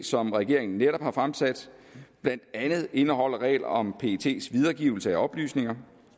som regeringen netop har fremsat blandt andet indeholder regler om pets videregivelse af oplysninger